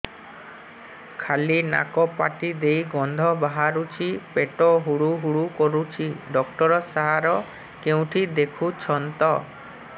ଖାଲି ନାକ ପାଟି ଦେଇ ଗଂଧ ବାହାରୁଛି ପେଟ ହୁଡ଼ୁ ହୁଡ଼ୁ କରୁଛି ଡକ୍ଟର ସାର କେଉଁଠି ଦେଖୁଛନ୍ତ